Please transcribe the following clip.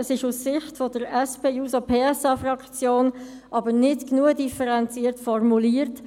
Es ist aus Sicht der SP-JUSO-PSA-Fraktion aber nicht genügend differenziert formuliert.